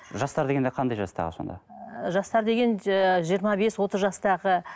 жастар дегенде қандай жастағы сонда ы жастар деген ы жиырма бес отыз жастағы